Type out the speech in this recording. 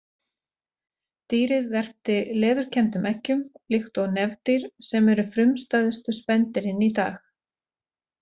Dýrið verpti leðurkenndum eggjum líkt og nefdýr sem eru frumstæðustu spendýrin í dag.